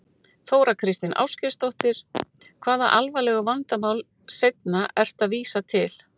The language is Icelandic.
Þóra Kristín Ásgeirsdóttir: Hvaða alvarlegu vandamál seinna ertu að vísa til?